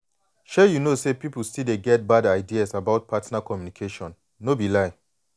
shay you know say people still dey get bad ideas about partner communication no be lie.